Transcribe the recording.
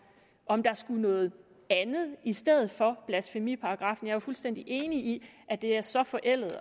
om der skulle noget andet i stedet for blasfemiparagraffen jeg er fuldstændig enig i at det er så forældet